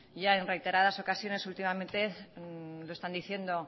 ya en reiteradas ocasiones últimamente lo están diciendo